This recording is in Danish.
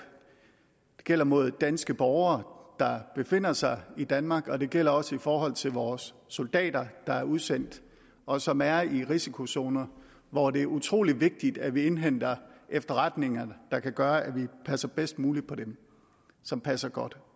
det gælder mod danske borgere der befinder sig i danmark og det gælder også i forhold til vores soldater der er udsendt og som er i risikozoner hvor det er utrolig vigtigt at vi indhenter de efterretninger der kan gøre at vi passer bedst muligt på dem som passer godt